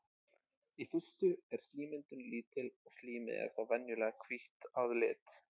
Í fyrstu er slímmyndun lítil og slímið er þá venjulega hvítt að lit.